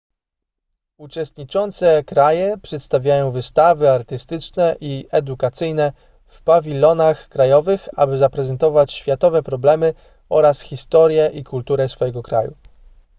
uczestniczące kraje przedstawiają wystawy artystyczne i edukacyjne w pawilonach krajowych by zaprezentować światowe problemy oraz historię i kulturę swojego kraju